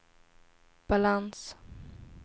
balans